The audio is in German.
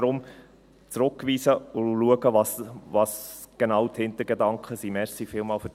Deshalb: Zurückweisen und schauen, was genau die Hintergedanken sind.